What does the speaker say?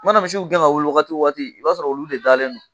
U mana misiw gɛn ka wuli waati o wagati i b'a sɔrɔ olu de dalen don